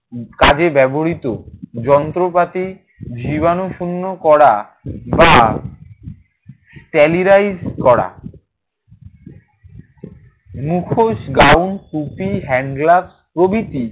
কাজে ব্যবহৃত যন্ত্রপাতি জীবাণুশূন্য করা বা sterilize করা। মুখোশ, গাউন, টুপি, handgloves প্রভৃতি।